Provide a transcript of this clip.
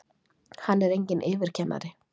Hann er enginn yfirkennari!